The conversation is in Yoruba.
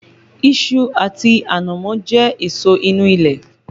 Iṣu àti ànámọ́ jẹ́ èso inú ilẹ̀